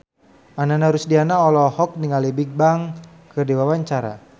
Ananda Rusdiana olohok ningali Bigbang keur diwawancara